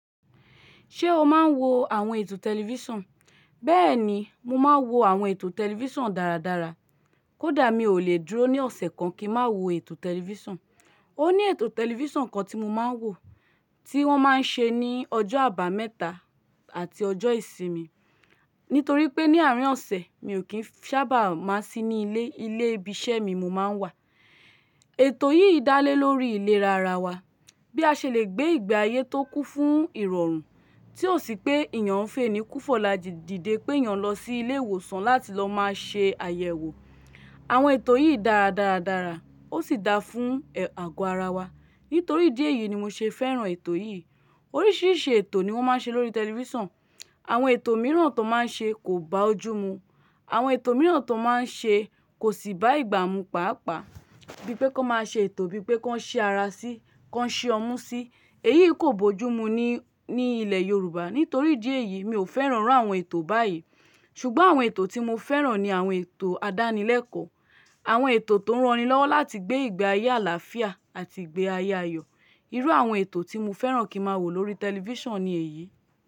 Ṣé o máa ń wo àwọn ètò tẹlifíṣàn? Bẹ́ẹ̀ni, mo máa ń wo àwọn ètò tẹlifíṣàn dáradára. Kódà mi ò lè dúró ní ọ̀sẹ̀ kan kí ń má wo ètò tẹlifíṣàn. Ó ní ètò tẹlifíṣàn kan tí mo máa ń wò, tí wọ́n máa ń ṣe ní ọjọ́ àbámẹ́ta àti ọjọ́ ìsinmi. Nítorí pé ní àárín ọ̀sẹ̀, mi ò kí ń sábà má sí ní ilé. Ilé ibi iṣẹ́ mi mo máa ń wà. Ètò yìí dá lé lórí ìlera ara wa. Bí a ṣe lè gbé ìgbé ayé tó kún fún ìrọ̀rùn. Tí ò sí pé èèyàn ń fènì ku, fọ̀la dìdè pé èèyàn lọ sí ilé ìwòsàn láti lọ máa ṣe àyẹ̀wò. Àwọn ètò yìí dáa dáradára. Ó sì da fún àgọ ara wa. Nítorí idi eyì ni mo ṣe fẹ́ràn ètò yìí. Oríṣìíríṣìí ètò ni wọ́n máa ń ṣe lórí tẹlifíṣàn. Àwọn ètò mìíràn tó máa ń ṣe kò bá ojú mu. Àwọn ètò mìíràn tó máa ń ṣe kò sì bá ìgbà mu pàápàá. Bíi pé kan máa ṣe ètò bíi pé kan si ara sí, kan si ọmú sí. Èyí kò bójú mú ni ní ilẹ̀ Yorùbá. Nítorí idi eyìí mi ò fẹ́ràn iru àwọn ètò báyìí. Ṣùgbọ́n àwọn ètò tí mo fẹ́ràn ni àwọn ètò àdánilẹ́kọ̀ọ́. Àwọn ètò tó ń ranni lọ́wọ́ láti gbé ìgbé ayé àlàáfíà àti ìgbé ayé ayọ̀. Irú àwọn ètò tí mo fẹ́ràn kín má wò lórí tẹlifíṣàn ni èyí.